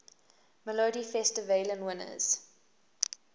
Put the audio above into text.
melodifestivalen winners